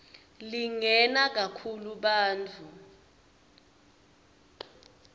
lingena kakhulu bantfu